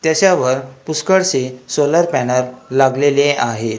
त्याच्यावर पुष्कळशे solar panel लागलेले आहेत.